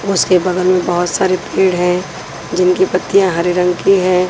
उसके बगल में बहुत सारे पेड़ हैं जिनकी पत्तियां हरे रंग की है।